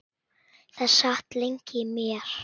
Það sat lengi í mér.